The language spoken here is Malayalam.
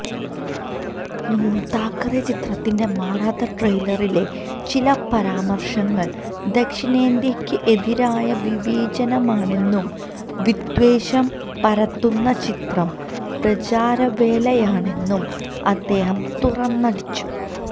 താക്കറെ ചിത്രത്തിന്റെ മറാത്ത ട്രെയിലറിലെ ചില പരാമര്ശങ്ങള് ദക്ഷിണേന്ത്യയ്ക്ക് എതിരായ വിവേചനമാണെന്നും വിദ്വേഷം പരത്തുന്ന ചിത്രം പ്രചാരവേലയാണെന്നും അദ്ദേഹം തുറന്നടിച്ചു